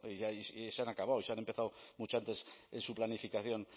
y se han acabado y se han empezado mucho antes su planificación